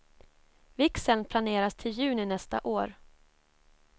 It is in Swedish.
Vigseln planeras till juni nästa år.